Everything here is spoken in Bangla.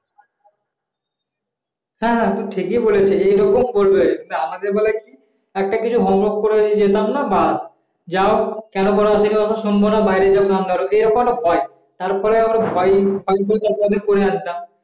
হ্যাঁ হ্যাঁ তুমি ঠিকই বলেছে এরকম করলে আমাদের বেলায় একটা কিছু হোম ওয়ার্ক করে যেতাম বাস না যাও এবং বাইরে গিয়ে কান ধর তারপরে ভয় আমরা পড়ে আসতাম